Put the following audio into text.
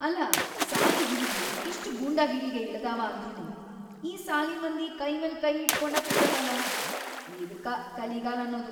ಅಲಾ, ಸಾಲಿ ಹುಡುಗ್ರು ಇಷ್ಟ್‌ ಗೂಂಡಾಗಿರಿಗಿ ಇಳದಾವ ಅಂದ್ರನೂ ಈ ಸಾಲಿಮಂದಿ ಕೈಮ್ಯಾಲ್‌ ಕೈಇಟ್ಕೊಂಡ ಕೂತಾರಲ.. ಇದ್ಕಾ ಕಲಿಗಾಲ್ ಅನ್ನೂದು.